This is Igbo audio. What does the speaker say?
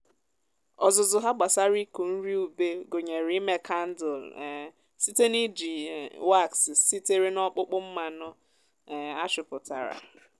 ọzụzụ ha gbasara ịkụ nri ube gụnyere ime kandụl um site n’iji um wax sitere n’ọkpụkpụ mmanụ um a chụpụtara.